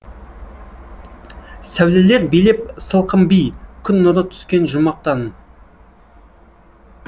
сәулелер билеп сылқым би күн нұры түскен жұмақтан